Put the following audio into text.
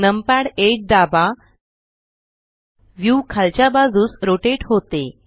numpad 8दाबा हे view खालच्या बाजूस रोटेट करते